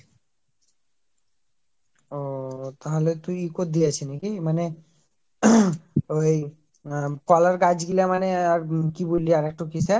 ওওও তাহলে তুই কদিয়াছি নাকি মানে ওই আহ কলার গাছ গুলা মানে হম কি বলি আর একটা কিসে